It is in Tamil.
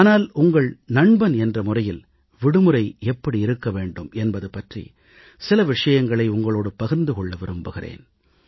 ஆனால் உங்கள் நண்பன் என்ற முறையில் விடுமுறை எப்படி இருக்க வேண்டும் என்பது பற்றி சில விஷயங்களை உங்களோடு பகிர்ந்து கொள்ள விரும்புகிறேன்